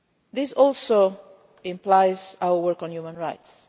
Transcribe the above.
This also implies our work on human rights.